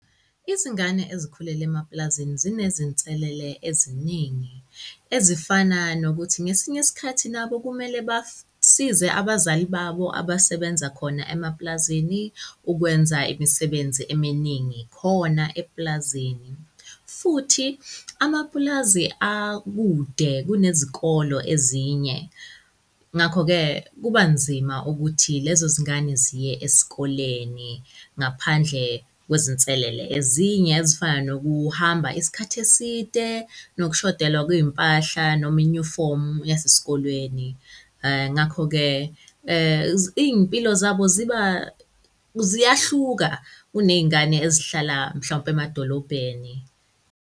Izingane ezikhulele emapulazini zinezinselele eziningi, ezifana nokuthi ngesinye isikhathi nabo kumele basize abazali babo abasebenza khona emapulazini ukwenza imisebenzi eminingi khona epulazini. Futhi amapulazi akude kunezikolo ezinye. Ngakho-ke, kuba nzima ukuthi lezo zingane ziye esikoleni ngaphandle kwezinselele ezinye ezifana nokuhamba isikhathi eside nokushodelwa kwey'mpahla noma inyufomu yasesikoleni. Ngakho-ke, iy'mpilo zabo ziba, ziyahluka kuney'ngane ezihlala mhlawumpe emadolobheni.